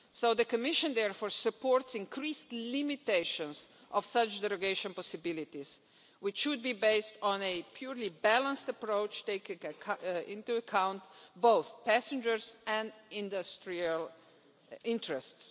The Commission therefore supports increased limitations on such derogation possibilities, which should be based on a purely balanced approach taking into account both passengers' and industrial interests.